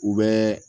U bɛ